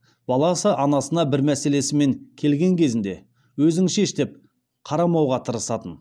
баласы анасына бір мәселесімен келген кезінде өзің шеш деп қарамауға тырысатын